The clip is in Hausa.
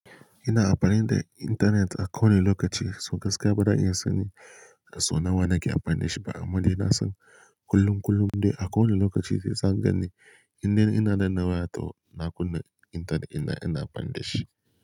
Ina amfani da intanet a kowane lokaci, so gaskiya ba zan iya sanin so nawa nake amfani da shi ba amma dai na san kullum kullum dai a kowane lokaci sai zan gan ni inda ina danna wayata, ina kunna intanetina ina amfani da shi.